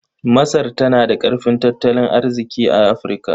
Masar tana da ƙarfin tattalin arziƙi a Afirka.